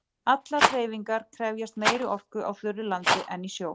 Allar hreyfingar krefjast meiri orku á þurru landi en í sjó.